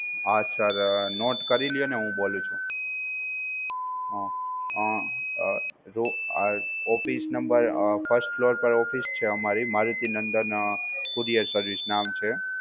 હા sir, note કરી લ્યો ને હું બોલું છું. Hmm um uh hmm office number, first floor પર office છે અમારી મારુતિ નંદન courier service નામ છે.